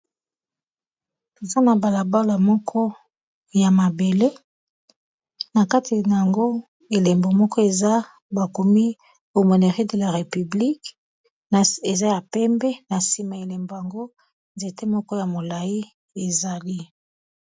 Eza na bala bala moko ya mabele, na kati nango elembo moko eza bakomi Aumônerie de la République na eza ya pembe na nsima elembo yango nzete moko ya molayi ezali.